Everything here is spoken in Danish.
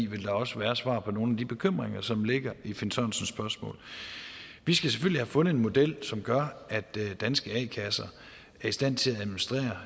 vil der også være svar på nogle af de bekymringer som ligger i herre finn sørensens spørgsmål vi skal selvfølgelig have fundet en model som gør at danske a kasser er i stand til